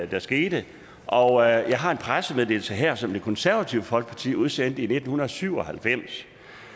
der skete og jeg har en pressemeddelelse her som det konservative folkeparti udsendte i nitten syv og halvfems